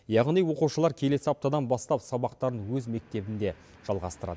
яғни оқушылар келесі аптадан бастап сабақтарын өз мектебінде жалғастырады